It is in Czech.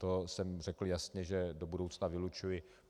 To jsem řekl jasně, že do budoucna vylučuji.